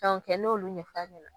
kɛ n'olu